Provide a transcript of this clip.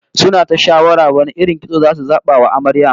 Suna ta shawara wane irin kitso zasu zaba wa Amaryar